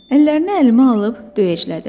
Əllərini əlimə alıb döyəclədim.